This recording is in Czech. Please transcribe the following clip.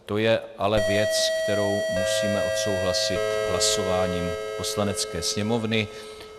To je ale věc, kterou musíme odsouhlasit hlasováním Poslanecké sněmovny.